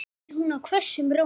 spyr hún hvössum rómi.